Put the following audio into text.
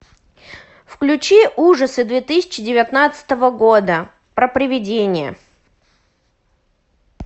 включи ужасы две тысячи девятнадцатого года про приведения